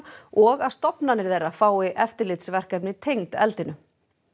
og að stofnanir þeirra fái eftirlitsverkefni tengd eldinu